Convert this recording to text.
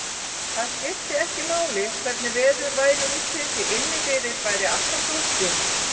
Það skipti ekki máli hvernig veður væri úti, því inni fyrir væri alltaf sólskin.